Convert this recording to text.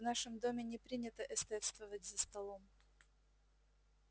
в нашем доме не принято эстетствовать за столом